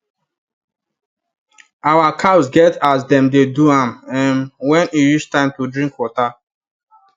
our cows get as them dey do am um when e reach time to drink water